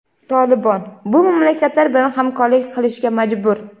"Tolibon" bu mamlakatlar bilan hamkorlik qilishga majbur.